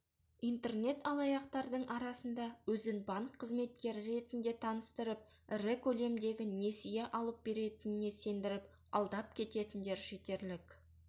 интернет-алаяқтардың арасында өзін банк қызметкері ретінде таныстырып ірі көлемдегі несие алып беретініне сендіріп алдап кететіндер жетерлік